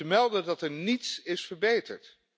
Ze melden dat er niets is verbeterd.